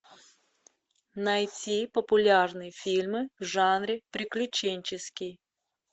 найти популярные фильмы в жанре приключенческий